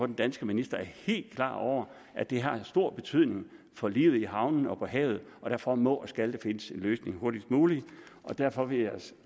den danske minister er helt klar over at det har stor betydning for livet i havnene og på havet og derfor må og skal der findes en løsning hurtigst muligt derfor vil jeg